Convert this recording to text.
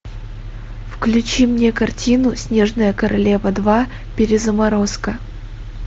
включи мне картину снежная королева два перезаморозка